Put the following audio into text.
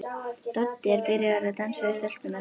Doddi er byrjaður að dansa við stelpurnar.